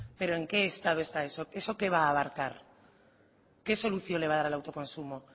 pero en qué estado está eso eso qué va a abarcar qué solución le va a dar al autoconsumo